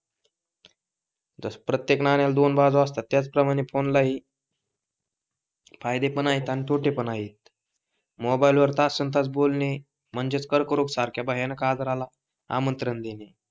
प्रत्येक नाण्याला दोन बाजू असतात त्याचप्रमाणे फोन ला ही फायदे पण आहे अन तोटे पण आहे मोबाईल वर तासनतास बोलणे म्हणजेच कर्करोगसारख्या भयानक आजाराला आमंत्रण देणे